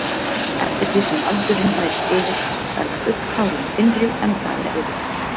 Eftir því sem aldurinn færist yfir verða augnhárin þynnri en það er eðlilegt.